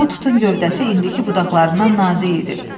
Bu tutun gövdəsi indiki budaqlarından nazik idi.